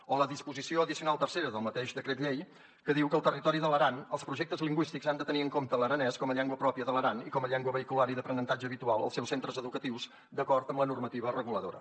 o la disposició addicional tercera del mateix decret llei que diu que al territori de l’aran els projectes lingüístics han de tenir en compte l’aranès com a llengua pròpia de l’aran i com a llengua vehicular i d’aprenentatge habitual als seus centres educatius d’acord amb la normativa reguladora